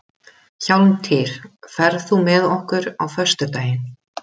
Hjálmtýr, ferð þú með okkur á föstudaginn?